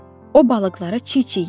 O balıqları çiy-çiy yedi.